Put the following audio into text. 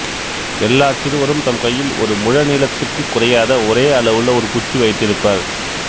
எல்லாச் சிறுவரும் தம் கையில் ஒரு முழ நீளத்துக்குக் குறையாத ஒரே அளவுள்ள ஒரு குச்சி வைத்திருப்பர்